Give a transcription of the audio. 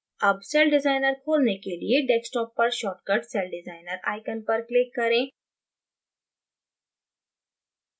अब सेलडिज़ाइनर खोलने के लिए desktop पर shortcut celldesigner icon पर click करें